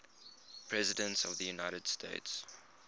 presidents of the united states